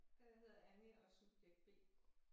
Og jeg hedder Anne og er subjekt B